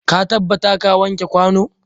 Ka tabbata ka wanke kwano.